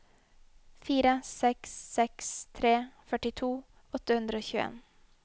fire seks seks tre førtito åtte hundre og tjueen